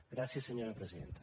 gràcies senyora presidenta